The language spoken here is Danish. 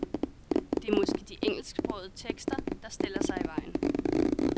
Det er måske de engelsksprogede tekster, der stiller sig i vejen.